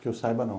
Que eu saiba, não.